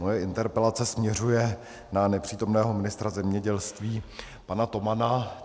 Moje interpelace směřuje na nepřítomného ministra zemědělství pana Tomana.